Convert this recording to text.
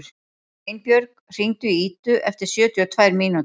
Einbjörg, hringdu í Idu eftir sjötíu og tvær mínútur.